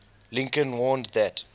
lincoln warned that